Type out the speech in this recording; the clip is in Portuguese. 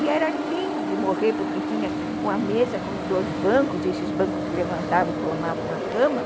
E era lindo de morrer, porque tinha uma mesa com dois bancos, e esses bancos levantavam e formavam uma cama.